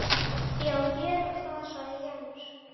Já gerum það sagði Jens.